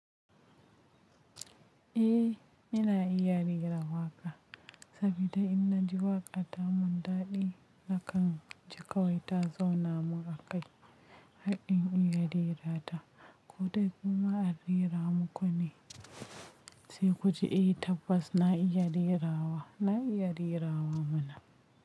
Eh, ina iya rera waƙa sabida in naji waƙa ta mun daɗi na kan ji kawai ta zauna mun a kai. Har in iya rera ta. Ko dai kuma a rera muku ne? Sai ku ji, eh tabbas na iya rerawa, na iya rerawa muna.